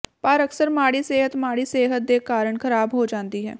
ਪਰ ਅਕਸਰ ਮਾੜੀ ਸਿਹਤ ਮਾੜੀ ਸਿਹਤ ਦੇ ਕਾਰਨ ਖਰਾਬ ਹੋ ਜਾਂਦੀ ਹੈ